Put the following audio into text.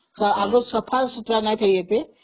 ଆଗ ଅପେକ୍ଷା ସଫାସୁତୁରା ହେଇଯାଇଛି